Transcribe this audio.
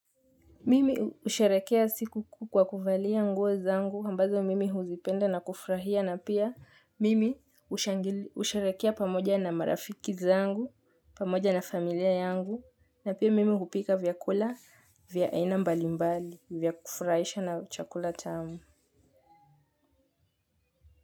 Mimi husherehekea siku kuu kwa kuvalia nguo zangu ambazo mimi huzipenda na kufurahia na pia mimi usharekea pamoja na marafiki zangu pamoja na familia yangu na pia mimi hupika vyakula vya aina mbalimbali vya kufurahisha na chakula tamu.